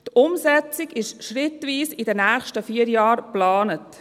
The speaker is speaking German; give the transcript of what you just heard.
Die Umsetzung ist schrittweise für die nächsten vier Jahren geplant.